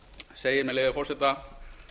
segir með leyfi forseta